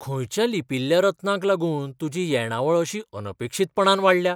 खंयच्या लिपील्ल्या रत्नांक लागून तुजी येणावळ अशी अनपेक्षीतपणान वाडल्या?